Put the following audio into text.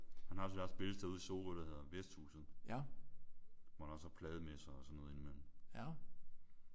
Han har sit eget spillested ude i Sorø der hedder Vesthhuset hvor der også er plademesser og sådan noget ind i mellem